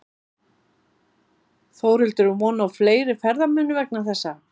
Þórhildur er von á fleiri ferðamönnum vegna þessa?